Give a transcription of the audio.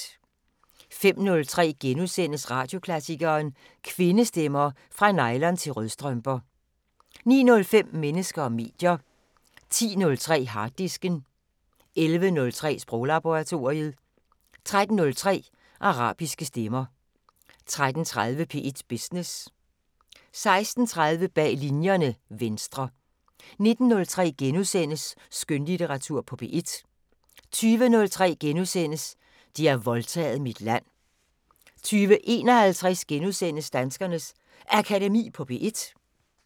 05:03: Radioklassikeren: Kvindestemmer – Fra nylon- til rødstrømper * 09:05: Mennesker og medier 10:03: Harddisken 11:03: Sproglaboratoriet 13:03: Arabiske stemmer 13:30: P1 Business 16:30: Bag Linjerne – Venstre 19:03: Skønlitteratur på P1 * 20:03: De har voldtaget mit land * 20:51: Danskernes Akademi på P1 *